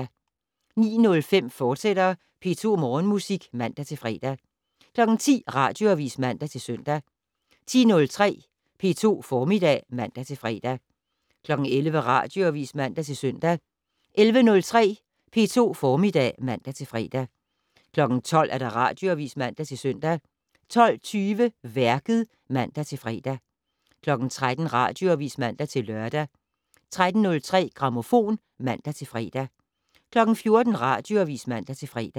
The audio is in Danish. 09:05: P2 Morgenmusik, fortsat (man-fre) 10:00: Radioavis (man-søn) 10:03: P2 Formiddag (man-fre) 11:00: Radioavis (man-søn) 11:03: P2 Formiddag (man-fre) 12:00: Radioavis (man-søn) 12:20: Værket (man-fre) 13:00: Radioavis (man-lør) 13:03: Grammofon (man-fre) 14:00: Radioavis (man-fre)